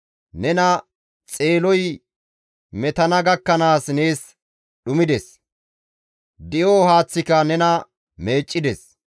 Nena Xeeloy metana gakkanaas nees dhumides; di7o haaththika nena meeccides.